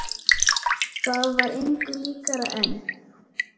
Það var engu líkara en